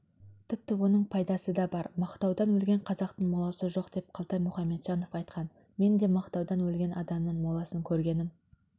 тіпті оның пайдасы да бар мақтаудан өлген қазақтың моласы жоқ деп қалтай мұхамеджанов айтқан мен де мақтаудан өлген адамның моласын көргенім